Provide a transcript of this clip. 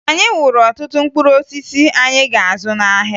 Anyị wuru ọtụtụ mkpụrụosisi anyị ga-azụ n'ahịa